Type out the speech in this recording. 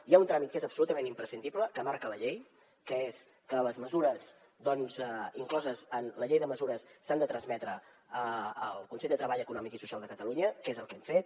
hi ha un tràmit que és absolutament imprescindible que marca la llei que és que les mesures incloses en la llei de mesures s’han de trametre al consell de treball econòmic i social de catalunya que és el que hem fet